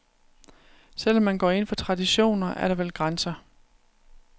Selv om man går ind for traditioner, er der vel grænser.